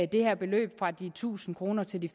det her beløb fra de tusind kroner til de